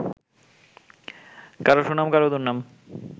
কারো সুনাম, কারো দুর্নাম